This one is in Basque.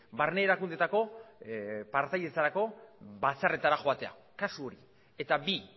barne erakundetako partaidetzarako batzarretara joatea kasu hori eta bi